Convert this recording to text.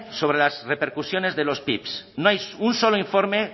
sobre las repercusiones de los pip no hay un solo informe